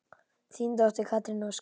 Þín dóttir, Katrín Ósk.